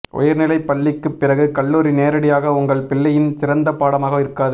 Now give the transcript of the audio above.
உயர்நிலைப் பள்ளிக்குப் பிறகு கல்லூரி நேரடியாக உங்கள் பிள்ளையின் சிறந்த பாடமாக இருக்காது